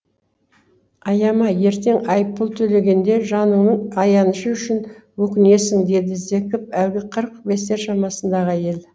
аяма ертең айыппұл төлегенде жаныңның аянышы үшін өкінесің деді зекіп әлгі қырық бестер шамасындағы әйел